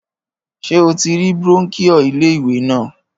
Ṣé o ti rí brónkíò ilé ìwé náà